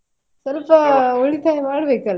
ಸ್ವಲ್ಪ ಉಳಿತಾಯ ಮಾಡ್ಬೇಕಲ್ಲಾ.